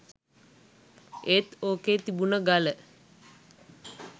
ඒත් ඕකෙ තිබුණ ගල